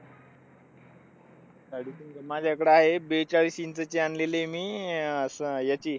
साडेतीन माझ्याकडे आहे एक बेचाळीस इंचाची आणलेली आहे मी. अह अश्या ह्याची,